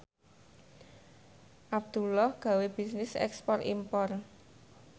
Abdullah gawe bisnis ekspor impor